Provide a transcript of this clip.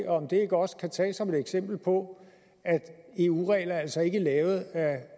om det ikke også kan tages som et eksempel på at eu regler altså ikke er lavet af